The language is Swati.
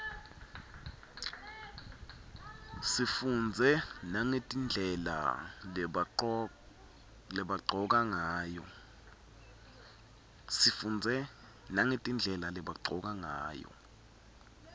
sifundze nagetindlela lebagcoka ngayo